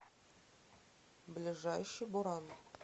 ближайший буран